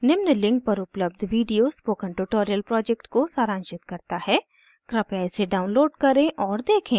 निम्न link पर उपलब्ध video spoken tutorial project को सारांशित करता है कृपया इसे download करें और देखें